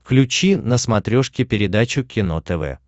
включи на смотрешке передачу кино тв